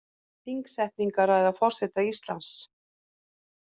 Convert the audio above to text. Þingsetningarræða forseta Íslands